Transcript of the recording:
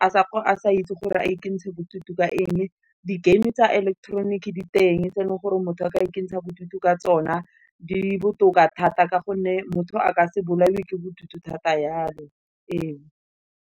a sa itse gore a ikentsha bodutu ka eng, di-game tsa electronic di teng, tse e leng gore motho a ka ikentshang bodutu ka tsona, di botoka thata ka gonne motho a ka se bolawe ke bodutu thata yalo e o.